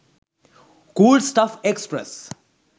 cool stuff express